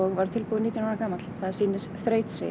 var tilbúinn nítján ára gamall það sýnir þrautseigju